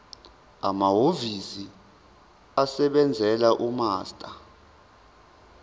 amahhovisi asebenzela umaster